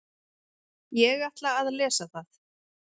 Ég ætla að lesa það.